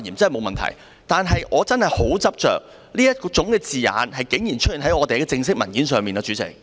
但是，主席，我真的很執着，這種字眼竟然出現在立法會的正式文件。